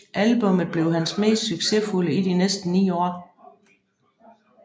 Albummet blev hans mest succesfulde i de næste ni år